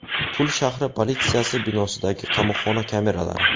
Pul shahri politsiyasi binosidagi qamoqxona kameralari.